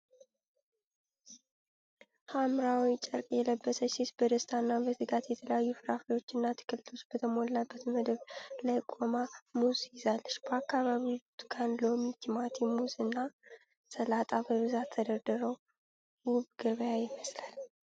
ሐምራዊ ጨርቅ የለበሰች ሴት በደስታና በትጋት በተለያዩ ፍራፍሬዎችና አትክልቶች በተሞላ መደብ ላይ ቆማ ሙዝ ይዛለች። በአካባቢው ብርቱካን፣ ሎሚ፣ ቲማቲም፣ ሙዝ እና ሰላጣ በብዛት ተደርድረው ውብ ገበያ ይመስላል።